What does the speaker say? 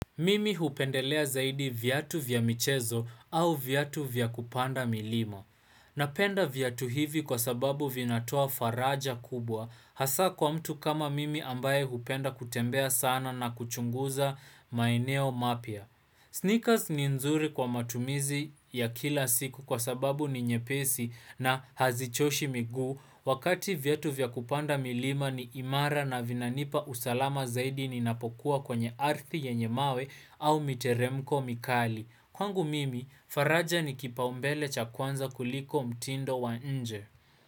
Mimi hupendelea zaidi viatu vya michezo au viatu vya kupanda milima. Napenda viatu hivi kwa sababu vinatoa faraja kubwa hasa kwa mtu kama mimi ambaye hupenda kutembea sana na kuchunguza maeneo mapya. Sneakers ni nzuri kwa matumizi ya kila siku kwa sababu ni nyepesi na hazichoshi miguu Wakati viatu vya kupanda milima ni imara na vinanipa usalama zaidi ninapokuwa kwenye arthi yenye mawe au miteremko mikali. Kwangu mimi, faraja ni kipaumbele cha kwanza kuliko mtindo wa nje.